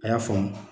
A y'a faamu